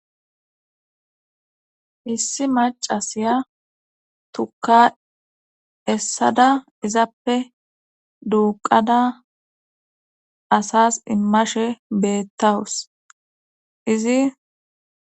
Issi macasiya tuka essada izappe duuqada asas immashe beettawus izi.